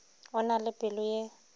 o na le pelo ye